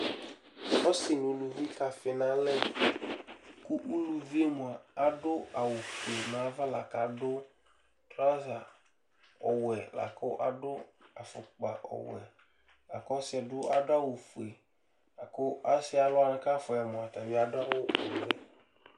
Ɔsɩ nʋ uluvi kafɩ nʋ alɛ kʋ uluvi yɛ mʋa, adʋ awʋfue nʋ ava la kʋ adʋ traɔza ɔwɛ la kʋ adʋ afʋkpa ɔwɛ la kʋ ɔsɩ yɛ bɩ adʋ awʋfue la kʋ ɔsɩ alʋ kʋ afʋa yɩ yɛ mʋa, ata bɩ adʋ awʋ ɔvɛ